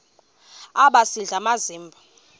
aba sisidl amazimba